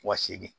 Wasegin